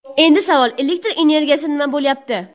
Endi savol: Elektr energiyasi nima bo‘lyapti?